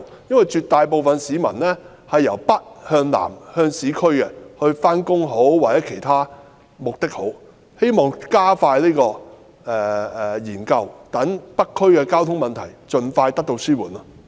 因為絕大部分市民也是由北向南到市區上班，希望當局加快有關研究，讓北區的交通問題盡快得到紓緩。